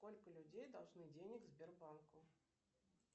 сколько людей должны денег сбербанку